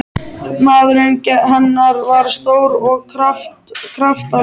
Maðurinn hennar var stór og kraftalegur.